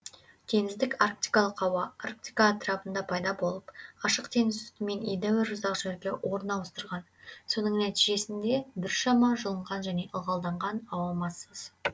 теңіздік арктикалық ауа арктика атырабында пайда болып ашық теңіз үстімен едәуір ұзақ жерге орын ауыстырған соның нәтижесінде біршама жылынған және ылғалданған ауа массасы